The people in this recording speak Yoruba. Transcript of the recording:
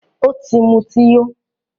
Ọ̀ tì mútí yó